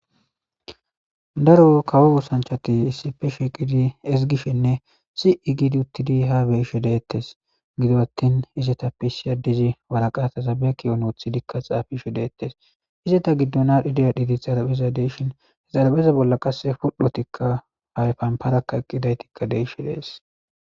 Daro kawo woosanchati issife sheqidi ezigishinne si'i gidi uttidi ha beyishe deettes gido attin izeta piisi addizi waraqata zabeeki onoothidikka xaafishe deettes izeta giddonadhideyadhiti xarabeza deishin hezarabeza bolla qasse pul'hotikka hayfanparakka eqqidaytikka deishe dees.